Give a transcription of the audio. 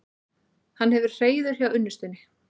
Hann hefur hreiður hjá unnustunni.